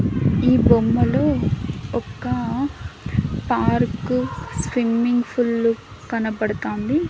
ఈ బొమ్మలు ఒక పార్కు స్విమ్మింగ్ ఫుల్లు కనబడతాంది.